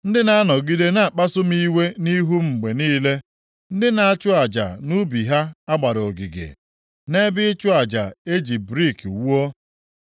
ndị na-anọgide na-akpasu m iwe nʼihu m mgbe niile, ndị na-achụ aja nʼubi ha a gbara ogige, nʼebe ịchụ aja eji brik wuo,